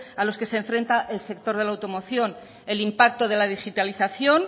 a los que se enfrenta el sector de la automoción el impacto de la digitalización